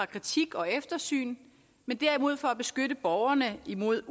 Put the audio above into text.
kritik og eftersyn men derimod for at beskytte borgerne imod